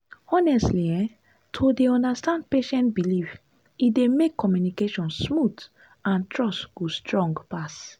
honestly[um]to dey understand patient belief e dey make communication smooth and trust go strong pass.